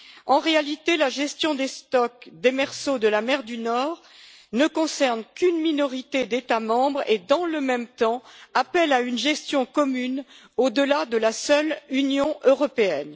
En réalité, la gestion des stocks démersaux de la mer du Nord ne concerne qu'une minorité d'États membres et, dans le même temps, nécessite une gestion commune au delà de la seule Union européenne.